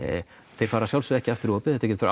þeir fara að sjálfsögðu ekki aftur í opið þetta getur